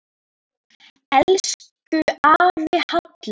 Elsku afi Hallur.